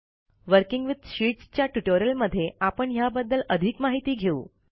working with sheets च्या ट्युटोरियलमध्ये आपण ह्या बद्दल अधिक माहिती घेऊ